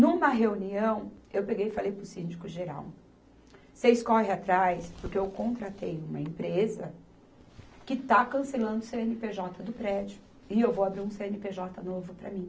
Numa reunião, eu peguei e falei para o síndico geral, vocês correm atrás, porque eu contratei uma empresa que está cancelando o cê ene pê jota do prédio, e eu vou abrir um cê ene pê jota novo para mim.